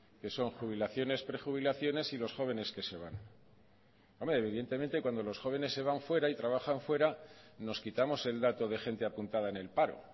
que son jubilaciones prejubilaciones y los jóvenes que se van evidentemente cuando los jóvenes se van fuera y trabajan fuera nos quitamos el dato de gente apuntada en el paro